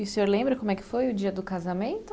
E o senhor lembra como é que foi o dia do casamento?